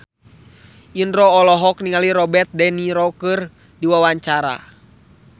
Indro olohok ningali Robert de Niro keur diwawancara